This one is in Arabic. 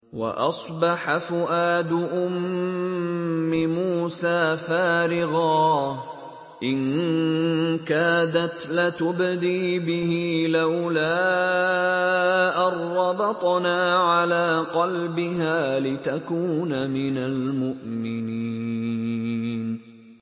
وَأَصْبَحَ فُؤَادُ أُمِّ مُوسَىٰ فَارِغًا ۖ إِن كَادَتْ لَتُبْدِي بِهِ لَوْلَا أَن رَّبَطْنَا عَلَىٰ قَلْبِهَا لِتَكُونَ مِنَ الْمُؤْمِنِينَ